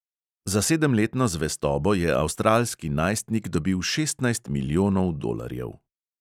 Za sedemletno zvestobo je avstralski najstnik dobil šestnajst milijonov dolarjev.